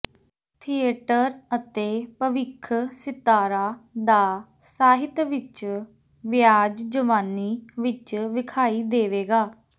theatre ਅਤੇ ਭਵਿੱਖ ਸਿਤਾਰਾ ਦਾ ਸਾਹਿਤ ਵਿਚ ਵਿਆਜ ਜਵਾਨੀ ਵਿੱਚ ਵੇਖਾਈ ਦੇਵੇਗਾ